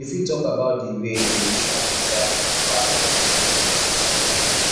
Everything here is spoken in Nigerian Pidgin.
you fit talk about di way in which family values dey pass down from generation to another